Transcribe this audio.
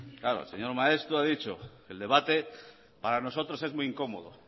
claro el señor maeztu ha dichoel debate para nosotros es muy incómodo